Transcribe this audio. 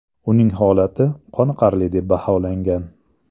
Uning holati qoniqarli deb baholangan.